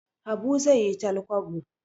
Habu zai yi talkwabo